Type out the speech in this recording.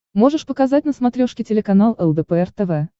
можешь показать на смотрешке телеканал лдпр тв